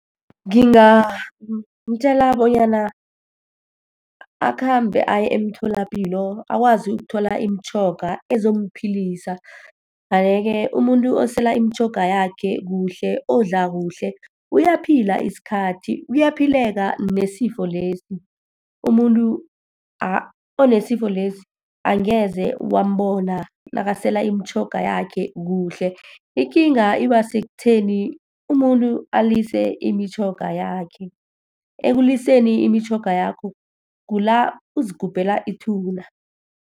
Ngingamtjela bonyana akhambe aye emtholapilo, akwazi ukuthola imitjhoga ezomuphilisa. umuntu osela imitjhoga yakhe kuhle, odla kuhle, uyaphila isikhathi. Kuyaphileka nesifo lesi. Umuntu onesifo lesi, angeze wambona nakasela imitjhoga yakhe kuhle. Ikinga iba sekutheni umuntu alise imitjhoga yakhe. Ekuliseni imitjhoga yakho, kula uzigubhela ithuna.